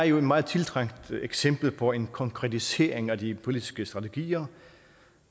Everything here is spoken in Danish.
jo et meget tiltrængt eksempel på en konkretisering af de politiske strategier